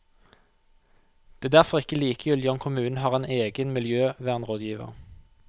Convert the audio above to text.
Det er derfor ikke likegyldig om kommunen har en egen miljøvernrådgiver.